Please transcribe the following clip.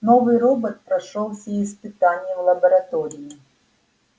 новый робот прошёл все испытания в лаборатории